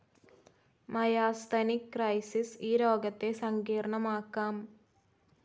Myasthenic crisis ഈ രോഗത്തെ സങ്കീർണ്ണമാക്കാം.